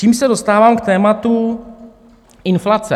Čímž se dostávám k tématu inflace.